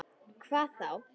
Hvað þá?